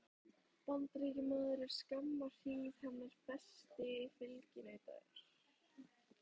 Bandaríkjamaður er skamma hríð hennar fasti fylginautur.